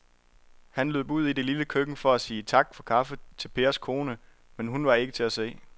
Han løb ud i det lille køkken for at sige tak for kaffe til Pers kone, men hun var ikke til at se.